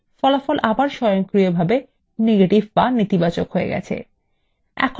ফল আবার স্বয়ংক্রিয়ভাবে নেতিবাচক এ পরিবর্তন হবে